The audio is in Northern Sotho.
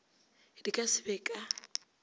di ka se be ka